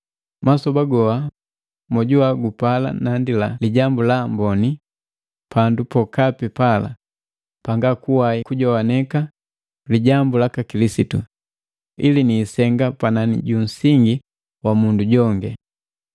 Masoba goha mojuwa gupala nalandi Lijambu la Amboni pandu pokapi pala panga kuwai kujogwaneka lijambu laka Kilisitu, ili niisenga panani junsingi wa mundu jongi.